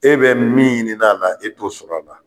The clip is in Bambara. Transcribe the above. E bɛ min ɲinina a la, e b'o sɔrɔla a la.